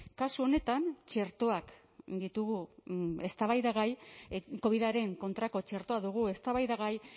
kasu honetan txertoak ditugu eztabaidagai covidaren kontrako txertoa dugu eztabaidagai